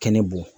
Kɛnɛ bɔ